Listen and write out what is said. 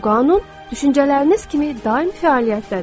Bu qanun düşüncələriniz kimi daim fəaliyyətdədir.